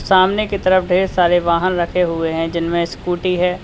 सामने की तरफ ढेर सारे वहन रखे हुए हैं जिनमें स्कूटी है।